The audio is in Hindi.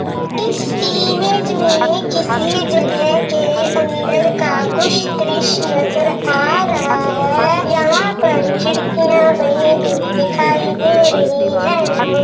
इस इमेज में किसी जगह के अन्दर का कुछ द्रश्य नजर आ रहा है यहाँ पर खिड़कियाँ बनी हुईं दिखाई दे रही है।